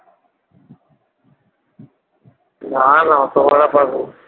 না না অত ভাড়া পাবো না